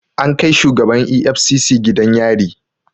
An kai shugaban EFCC gidan yari